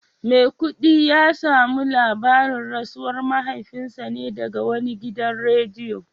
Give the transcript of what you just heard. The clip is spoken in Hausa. Maikudi ya samu labarin rasuwar mahaifinsa ne daga wani gidan rediyo